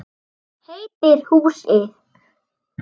Hvað heitir húsið?